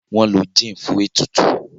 wón ló gin fún ètùtù..